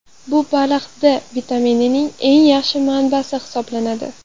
Bu baliq D vitaminining eng yaxshi manbasi hisoblanadi.